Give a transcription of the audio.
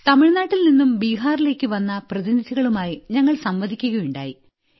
തമിഴ്നാട്ടിൽനിന്നു ബീഹാറിലേയ്ക്കു വന്ന പ്രതിനിധികളുമായും ഞങ്ങൾ സംവദിക്കുകയുണ്ടായി